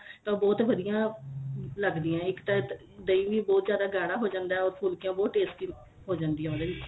ਤਾਂ ਬਹੁਤ ਵਧੀਆ ਲੱਗਦੀਆਂ ਇੱਕ ਤਾਂ ਦਹੀ ਵੀ ਬਹੁਤ ਜਿਆਦਾ ਗਾੜਾ ਹੋ ਜਾਂਦਾ or ਫੁਲਕੀਆਂ ਬਹੁਤ tasty ਹੋ ਜਾਂਦੀਆਂ ਉਹਦੇ ਵਿੱਚ